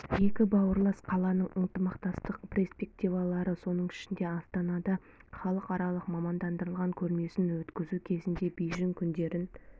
екі бауырлас қаланың ынтымақтастық перспективалары соның ішінде астанада халықаралық мамандандырылған көрмесін өткізу кезінде бейжің күндерін